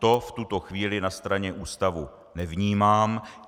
To v tuto chvíli na straně ústavu nevnímám.